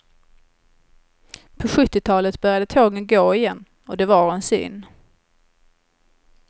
På sjuttiotalet började tågen gå igen, och de var en syn.